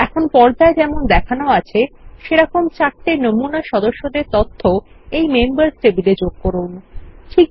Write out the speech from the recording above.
এখন পর্দায় যেমন দেখানো আছে সেরকম চারটি নমুনা সদস্যদের তথ্য মেম্বার্স টেবিলের মধ্যে যোগ করা যাক